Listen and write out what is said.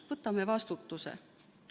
Võtame vastutuse.